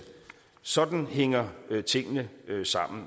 sådan hænger tingene sammen